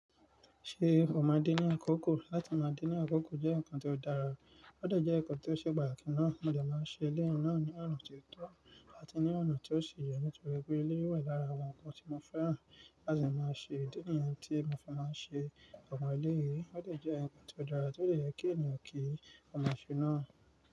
Ṣé o máa de ní àkókò? Látí má de ní àkókò jẹ́ nǹkan tí ó dára, ó dè jẹ́ nǹkan tí ó ṣe patakí náà. Mo de máa n ṣe elé yi náà ní ọ̀na tí ó tọ́ àti ní ọ̀nà tí ó ṣi yẹ nítorí pé elé yi wà lára àwọn nǹkan tí mo fẹ́ràn. Láti máa ṣe ìdí nìyẹn tí mo fí máa n ṣe ọ̀pọ̀ elé yìí, ó de jẹ́ nǹkan tí ó dára tó de yẹ́ kí ènìyàn kíi ọma ṣẹ́ náà.